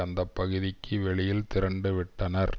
அந்த பகுதிக்கு வெளியில் திரண்டு விட்டனர்